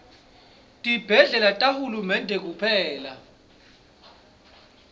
tibhedlela tahulumende kuphela